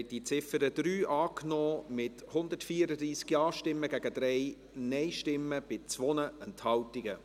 Sie haben die Ziffer 3 angenommen, mit 134 Ja- gegen 3 Nein-Stimmen bei 2 Enthaltungen.